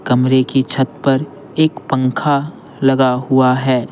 कमरे की छत पर एक पंखा लगा हुआ है।